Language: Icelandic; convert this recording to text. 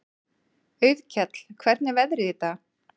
Auðkell, hvernig er veðrið í dag?